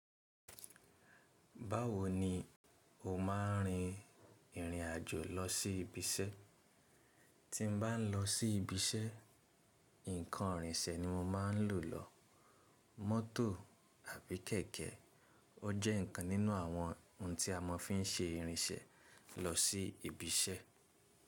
Báwo ni o máa ń rin ìrìn àjò lọ sí ibi iṣẹ́? Tí n bá n lọ sí ibi iṣẹ́, nǹkan ìrìnsẹ̀ ni mo máa ń lò lọ mọ́tò àbí kẹ̀kẹ́. Ó jẹ́ nǹkan nínú àwọn ohun tí a máa fi ń ṣe ìrìnṣẹ̀ lọ sí ibi iṣẹ́.